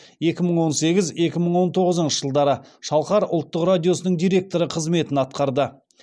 екі мың он сегіз екі мың он тоғызыншы жылдары шалқар ұлттық радиосының директоры қызметін атқарды